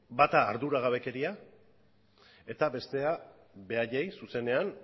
bata arduragabekeria eta bestea beraiei zuzenean